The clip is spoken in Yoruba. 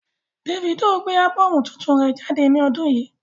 Davido gbé ábọ́ọ̀mù tuntun rẹ jáde ní ọdún yìí.